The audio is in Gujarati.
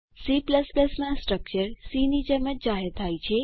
C માં સ્ટ્રક્ચર સી ની જેમ જ જાહેર થાય છે